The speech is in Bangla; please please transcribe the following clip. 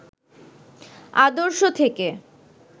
আদর্শ থেকে